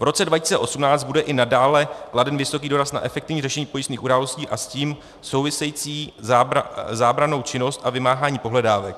V roce 2018 bude i nadále kladen velký důraz na efektivní řešení pojistných událostí a s tím související zábrannou činnost a vymáhání pohledávek.